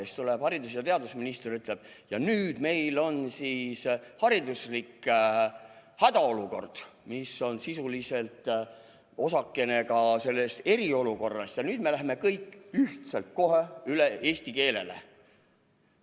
Siis tuleb haridus- ja teadusminister ja ütleb, et nüüd meil on hariduslik hädaolukord, mis on sisuliselt ka osakene sellest eriolukorrast, ja nüüd me läheme kõik ühiselt kohe üle eesti keelele.